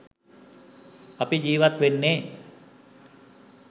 අපි ජීවත් වෙන්නේ